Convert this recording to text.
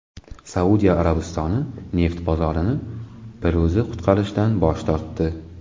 Saudiya Arabistoni neft bozorini bir o‘zi qutqarishdan bosh tortdi.